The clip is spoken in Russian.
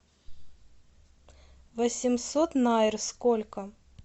восемьсот найр сколько